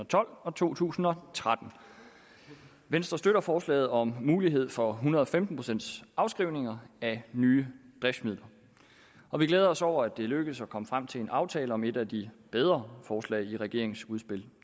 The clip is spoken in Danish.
og tolv og to tusind og tretten venstre støtter forslaget om mulighed for en hundrede og femten procent afskrivning af nye driftsmidler og vi glæder os over at det er lykkedes at komme frem til en aftale om et af de bedre forslag i regeringens udspil